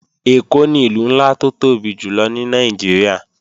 Èkó ni Ìlú ńlá tó tóbi jùlọ ní Nàìjíríà